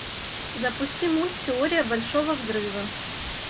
запусти мульт теория большого взрыва